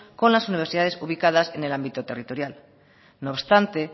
con las universidades ubicadas en el ámbito territorial no obstante